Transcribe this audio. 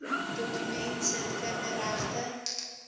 dokument sit kinderregte